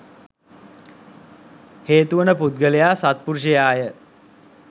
හේතුවන පුද්ගලයා සත්පුරුෂයා ය.